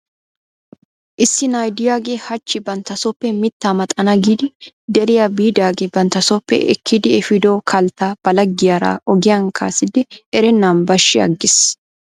Issi na'a diyaagee hachchi banttasooppe mittaa maxana giidi deriyaa biidaagee banttasooppe ekkidi efiido kalttaa balagiyaara ogiyan kaa'iisdi erennan bashshi aggis.